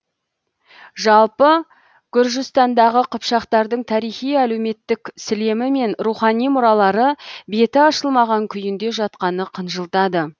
жалпы гүржістандағы қыпшақтардың тарихи әлеуметтік сілемі мен рухани мұралары беті ашылмаған күйінде жатқаны қынжылтады